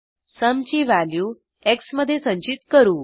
sum ची value X मधे संचित करू